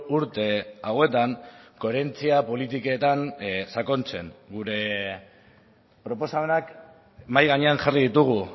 urte hauetan koherentzia politiketan sakontzen gure proposamenak mahai gainean jarri ditugu